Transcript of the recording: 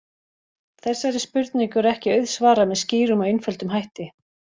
Þessari spurningu er ekki auðsvarað með skýrum og einföldum hætti.